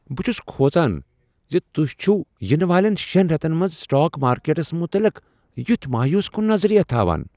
بہٕ چُھس کھوژان زِ تُہۍ چھوٕ ینہٕ والؠن شیٛن ریتن منٛز سٹاک مارکیٹس متعلق یُتھ مایوس کن نظریہٕ تھاوان۔